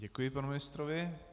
Děkuji panu ministrovi.